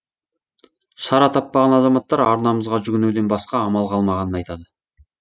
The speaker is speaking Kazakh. шара таппаған азаматтар арнамызға жүгінуден басқа амал қалмағанын айтады